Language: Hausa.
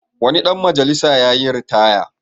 Wani dan majalisa yayi ritaya.